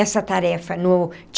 Essa tarefa no.